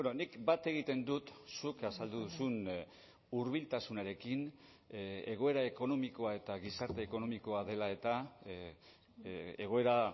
nik bat egiten dut zuk azaldu duzun hurbiltasunarekin egoera ekonomikoa eta gizarte ekonomikoa dela eta egoera